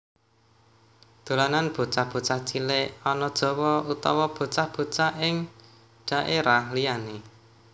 Dolanan bocah bocah cilik ana Jawa utawa bocah bocah ing dhaérah liyané